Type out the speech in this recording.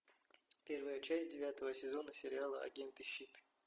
первая часть девятого сезона сериала агенты щит